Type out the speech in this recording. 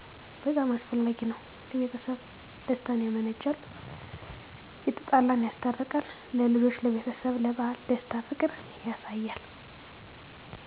በጣም አስፈላጊ ነዉ ለቤተሰብ ደስታን ያመነጫል የተጣላን ያስታርቃል ለልጆች ለቤተሰብ ስለበዓል ደስታ ፍቅር ያሳያል።